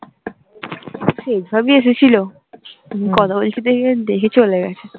শেখ ভবি এসেছিলো তুমি কথা বলছো দেখে, দেখে চলে গেছে